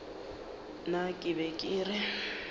nna ke be ke re